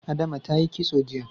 Adama ta yi kitso jiya.